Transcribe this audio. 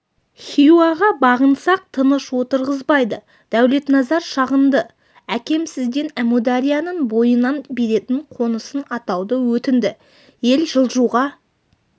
хиуаға бағынсақ тыныш отырғызбайды дәулетназар шағынды әкем сізден әмударияның бойынан беретін қонысын атауды өтінді ел жылжуға